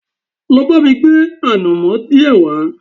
Lọ bá mi gbé ànàmọ́ díẹ̀ wá